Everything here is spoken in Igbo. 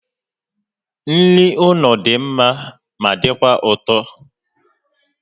Nri ụlọ dị mma ma dịkwa ụtọ